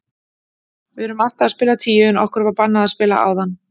Við erum alltaf að spila tíu en okkur var bannað að spila áðan.